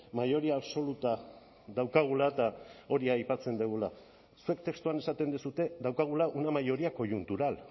mayoría absoluta daukagula eta hori aipatzen dugula zuek testuan esaten duzue daukagula una mayoría coyuntural